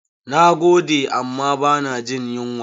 Na gode amma ba na jin yunwa.